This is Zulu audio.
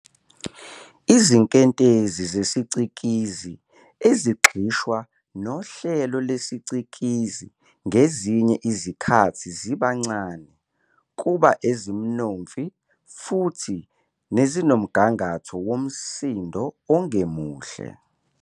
Izinkentezi zesicikizi ezigxishwa nohlelo lesicikizi ngezinye izikhathi ziba ncane, kuba ezimnonfi, futhi nezinomgangatho womsindo ongemuhle.